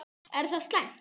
Er það slæmt?